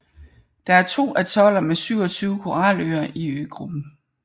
Der er to atoller med 27 koraløer i øgruppen